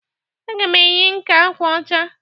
Aga m eyi nke agwa ọcha.